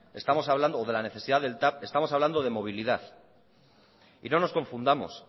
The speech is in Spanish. o de la necesidad del tav estamos hablando de movilidad y no nos confundamos